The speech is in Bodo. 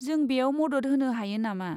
जों बेयाव मदद होनो हायो नामा?